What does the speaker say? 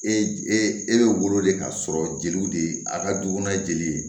E e bɛ wolo de k'a sɔrɔ jeliw de ye a ka duw n'a ye jeli ye